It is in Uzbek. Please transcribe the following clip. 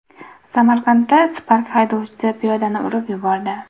Samarqandda Spark haydovchisi piyodani urib yubordi.